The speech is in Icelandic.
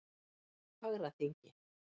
Fagraþingi